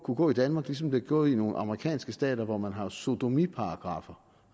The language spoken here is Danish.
kunne gå i danmark som det er gået i nogle amerikanske stater hvor man har sodomiparagraffer